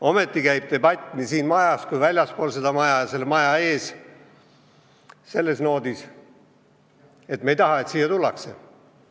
Ometi käib debatt nii siin majas kui väljaspool seda maja ja maja ees selle alatooniga, et me ei taha, et siia tullakse.